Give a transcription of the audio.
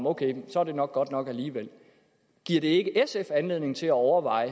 ok så er det nok godt nok alligevel giver det ikke sf anledning til at overveje